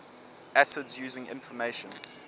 acids using information